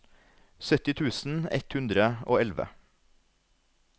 sytti tusen ett hundre og elleve